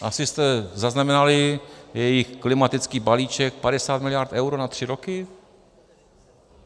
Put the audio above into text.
Asi jste zaznamenali jejich klimatický balíček, 50 miliard eur na tři roky?